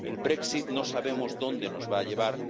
El Brexit no sabemos dónde nos va a llevar.